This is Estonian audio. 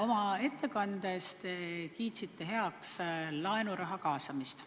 Oma ettekandes te kiitsite heaks laenuraha kaasamist.